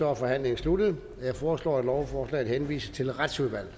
er forhandlingen sluttet jeg foreslår at lovforslaget henvises til retsudvalget